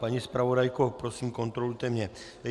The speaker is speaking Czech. Paní zpravodajko, prosím, kontrolujte mě.